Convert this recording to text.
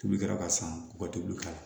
Tulu kɛra ka san u ka tulu k'a la